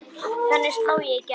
Þannig sló ég í gegn.